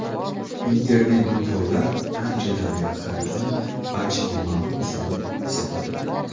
Internet-do‘konlar anchadan beri xaridning barchaga ma’lum usuli hisoblanadi.